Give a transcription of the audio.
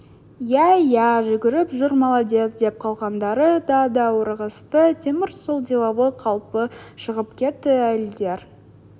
иә иә жүгіріп жүр молодец деп қалғандары да даурығысты темір сол деловой қалпы шығып кетті әйелдер